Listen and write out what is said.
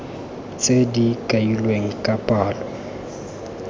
tse di kailweng ka palo